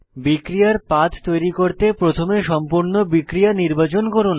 বিক্রিয়ার পাথ তৈরি করতে প্রথমে সম্পূর্ণ বিক্রিয়া নির্বাচন করুন